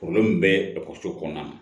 bɛ ekɔliso kɔnɔna na